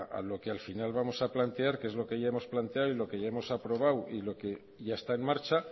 a lo que al final vamos a plantear que es lo que ya hemos planteado y lo que ya hemos aprobado y lo que ya está en marcha